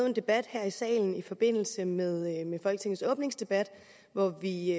en debat her i salen i forbindelse med folketingets åbningsdebat hvor vi